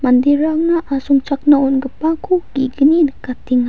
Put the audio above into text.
manderangna asongchakna on·gipako ge·gni nikatenga.